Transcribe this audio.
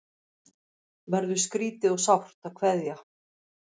Verður skrýtið og sárt að kveðja